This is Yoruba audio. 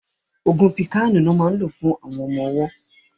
Ògùn píkàànù lọ́ máa ń lò fún ọmọ ọwọ́